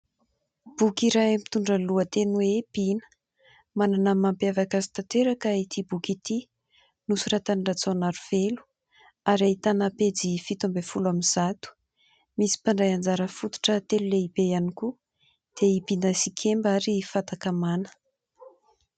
Boky iray mitondra lohateny hoe :" Bina ", manana ny mampiavaka azy tanteraka ity boky ity, nosoratan'i Rajaonarivelo ary ahitana pejy fito amby folo amby zato, misy mpandray anjara fototra telo lehibe ihany koa : dia i Bina sy i Kemba ary Fatakamana.